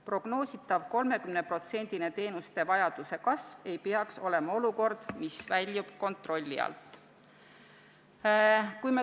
Prognoositav 30%-line teenuse vajaduse kasv ei peaks tekitama olukorda, mis väljuks kontrolli alt.